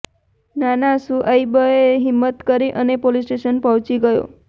નાના શુઐબએ હિમ્મત કરી અને પોલીસ સ્ટેશન પહોંચી ગયો